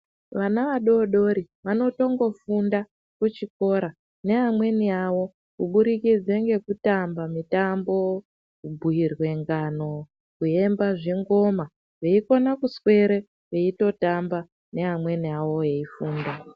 Vana vadodori vatongofunda kuchikora neamweni avo kubudikidze ngekutamba mitambo, kubhuirwe ngano, kuemba zvingoma veikona kuswere veitotamba neamweni avo veifunda.